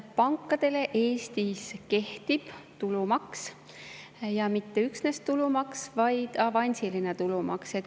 Pankadele kehtib Eestis tulumaks, ja mitte lihtsalt tulumaks, vaid avansiline tulumaks.